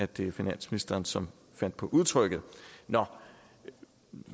det var finansministeren som fandt på udtrykket nå